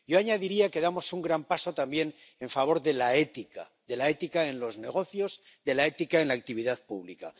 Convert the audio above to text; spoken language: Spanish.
Yo añadiría que damos un gran paso también en favor de la ética de la ética en los negocios, de la ética en la actividad pública.